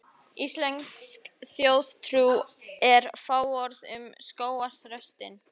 Íslensk þjóðtrú er fáorð um skógarþröstinn.